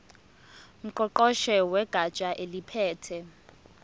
ngqongqoshe wegatsha eliphethe